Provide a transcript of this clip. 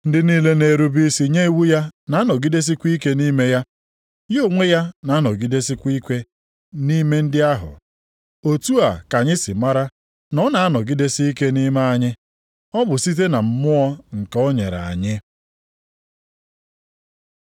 Ndị niile na-erube isi nye iwu ya na-anọgidesikwa ike nʼime ya, ya onwe ya na-anọgidesikwa ike nʼime ndị ahụ! Otu a ka anyị si mara na ọ na-anọgidesike nʼime anyị: Ọ bụ site na Mmụọ nke o nyere anyị.